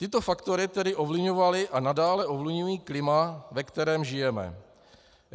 Tyto faktory tedy ovlivňovaly a nadále ovlivňují klima, ve kterém žijeme.